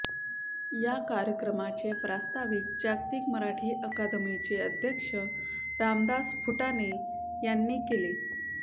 या कार्यक्रमाचे प्रास्ताविक जागतिक मराठी अकादमीचे अध्यक्ष रामदास फुटाणे यांनी केले